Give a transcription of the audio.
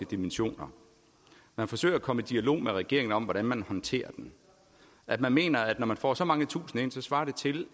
dimensioner man forsøger at komme i dialog med regeringen om hvordan man håndterer den man mener at når man får så mange tusinde ind så svarer det til